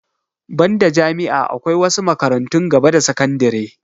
Banda jami'a akwai wasu makarantun gaba da sakandire